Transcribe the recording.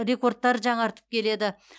рекордтар жаңартып келеді